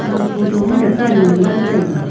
aga photo ma dakan nganla taiga.